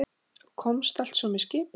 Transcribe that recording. Þú komst altso með skipi?